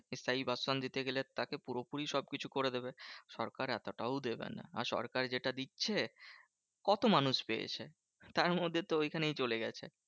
একটা স্থায়ী বাসস্থান দিতে গেলে তাকে পুরোপুরি সবকিছু করে দেবে। সরকার এতটাও দেবে না। আর সরকার যেটা দিচ্ছে, কত মানুষ পেয়েছে? তার মধ্যে তো ঐখানেই চলে গেছে।